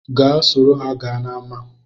Gaa soro ha gaa n’ama